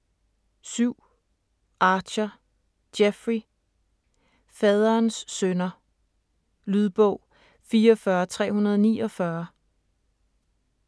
7. Archer, Jeffrey: Faderens synder Lydbog 44349